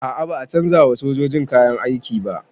A'a ba a canza wa sojojin kayan aiki ba